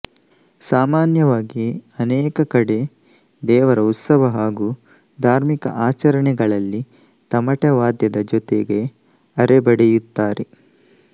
ಸಾಮಾನ್ಯವಾಗಿ ಅನೇಕ ಕಡೆ ದೇವರ ಉತ್ಸವ ಹಾಗೂ ಧಾರ್ಮಿಕ ಆಚರಣೆಗಳಲ್ಲಿ ತಮಟೆವಾದ್ಯದ ಜೊತೆಗೆ ಅರೆ ಬಡಿಯುತ್ತಾರೆ